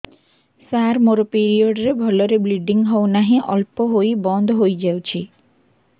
ସାର ମୋର ପିରିଅଡ଼ ରେ ଭଲରେ ବ୍ଲିଡ଼ିଙ୍ଗ ହଉନାହିଁ ଅଳ୍ପ ହୋଇ ବନ୍ଦ ହୋଇଯାଉଛି